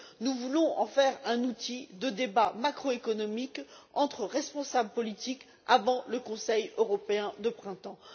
nous voulons en faire un outil de débat macroéconomique entre responsables politiques avant le Conseil européen du printemps.